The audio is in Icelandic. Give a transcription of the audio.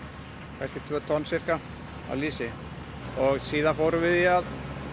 kannski tvö tonn af lýsi síðan fórum við í að